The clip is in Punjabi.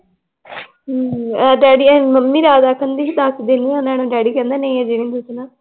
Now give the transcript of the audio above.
ਹਮ ਡੈਡੀ ਮੰਮੀ ਜ਼ਿਆਦਾ ਕਹਿੰਦੀ ਸੀ ਦੱਸਦੇ ਨੀ ਉਹਨਾਂ ਨੂੰ, ਡੈਡੀ ਕਹਿੰਦਾ ਸੀ ਨਈ ਅਜੇ ਨੀਂ ਦਸਣਾ l